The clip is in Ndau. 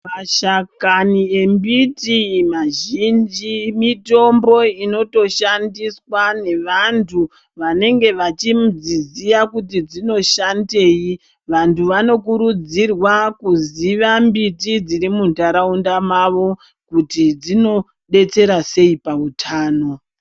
Mashakani embiti mazhinji mitombo inoto shandiswa nevantu vanenge vachidziziya kuti dzinoshandei vantu vano kurudzirwa kuziya mbiti dziri muntaraunda mavo kuti dzinodetsera sei pautano.